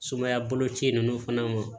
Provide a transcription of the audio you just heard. Sumaya boloci ninnu fana